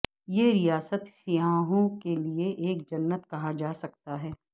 یہ ریاست سیاحوں کے لئے ایک جنت کہا جا سکتا ہے